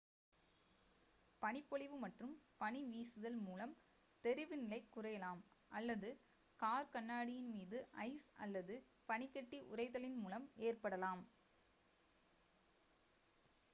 பனிப்பொழிவு மற்றும் பனி வீசுதல் மூலம் தெரிவு நிலை குறையலாம் அல்லது கார் கண்ணாடியின் மீது ஐஸ் அல்லது பனிக்கட்டி உறைதலின் மூலம் ஏற்படலாம்